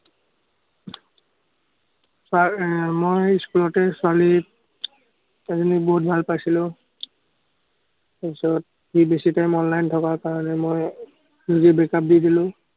মই school তে ছোৱালী এজনী বহুত ভাল পাইছিলো। তাৰ পিছত সি বেছিকে online থকা কাৰণে মই নিজে break-up দি দিলো।